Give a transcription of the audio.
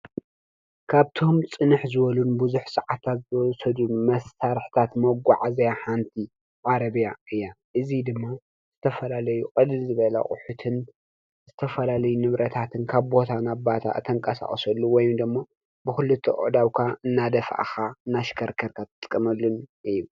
ካብቶም ፅንሕ ዝበሉን ቡዙሕ ሰዓታት ዝወሰዱን መሳርሕታት መጓዓዝያ ሓንቲ ዓረብያ እያ። እዚ ድማ ዝተፈላለዩ ቅልል ዝበለ ኣቁሑትን ዝተፈላለዩ ንብረታትን ካብ ቦታ ናብ ቦታ እተንቀሳቅሰሉ ወይም ደሞ ብኽሊትኡ ኣእዳውካ እናደፋእካ እናሽከርከርካን እትጥቀመሉን እዩ።